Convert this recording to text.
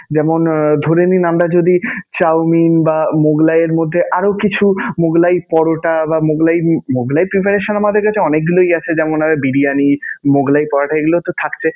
যেমনঃ আহ ধরে নিন, আমরা যদি chowmein বা মোগলাইয়ের মধ্যে আরও কিছু মোগলাই পরোটা বা মোগলাই মোগলাই preparation আমাদের কাছে অনেকগুলোই আছে. যেমনঃ এর বিরিয়ানি, মোগলাই পরোটা এগুলোতো থাকছে.